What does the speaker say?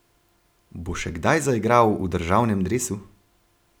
Bo še kdaj zaigral v državnem dresu?